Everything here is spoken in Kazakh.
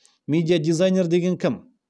медиа дизайнер деген кім